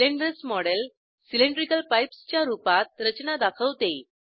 cylinders model cylindrical pipes च्या रूपात रचना दाखवते